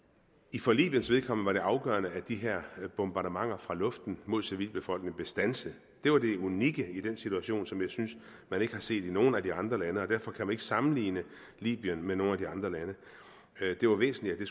for libyens vedkommende var det afgørende at de her bombardementer fra luften mod civilbefolkningen blev standset det var det unikke i den situation som jeg synes man ikke har set i nogen af de andre lande og derfor kan man ikke sammenligne libyen med nogen af de andre lande det var væsentligt at